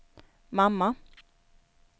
mamma